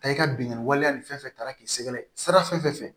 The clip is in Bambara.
Ta i ka binkani waleya nin fɛn fɛn ta taara k'i sɛgɛrɛ sira fɛ